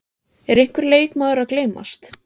Er einhver leikmaður að gleymast?